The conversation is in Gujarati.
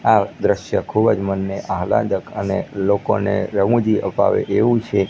આ દ્રશ્ય ખૂબજ મનને આહલાદક અને લોકોને રમુજી અપાવે એવુ છે.